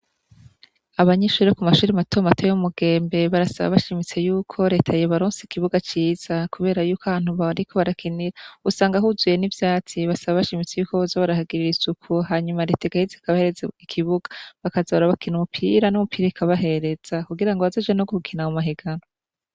Abanyeshure bo ku mashure mato mato yo mu Mugembe, barasaba bashimitse yuko reta yobaronsa ikibuga ciza, kubera yuko ahantu bariko barakinira usanga huzuye n'ivyatsi, basaba bashimitse yuko boza barahagirira isuku, hanyuma reta igaheza ikabahereza ikibuga, bakaza barakina umupira, n'umupira ikabahereza, kugira bazoje no gukina mu mahiganwa.